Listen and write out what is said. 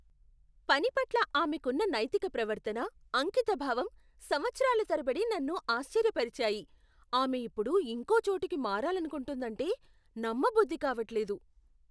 పని పట్ల ఆమెకున్న నైతిక ప్రవర్తన, అంకితభావం సంవత్సరాలు తరబడి నన్నుఆశ్చర్యపరిచాయి, ఆమె ఇప్పుడు ఇంకో చోటికి మారాలనుకుంటుందంటే నమ్మబుద్ధి కావట్లేదు.